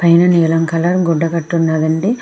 పైన నీలం కలర్ గుడ్డ కట్టి ఉన్నాదండి.